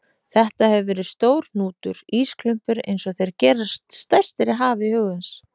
Þetta hefur verið stór hnútur, ísklumpur einsog þeir gerast stærstir í hafi hugans.